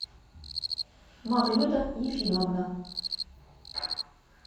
мавлюта ефимовна